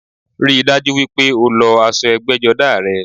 Ríi dájú wípé o lọ aṣọ ẹgbẹ́jọdá rẹ